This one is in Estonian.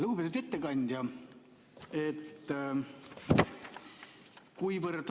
Lugupeetud ettekandja!